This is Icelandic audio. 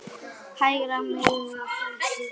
Hægra megin á hálsi.